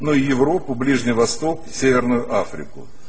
но европу ближний восток северную африку